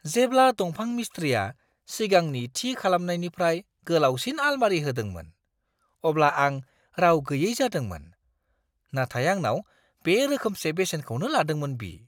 जेब्ला दंफां मिस्थ्रिआ सिगांनि थि खालामनायनिफ्राय गोलावसिन आलमारि होदोंमोन, अब्ला आं राव गैयै जादोंमोन, नाथाय आंनाव बे रोखोमसे बेसेनखौनो लादोंमोन बि!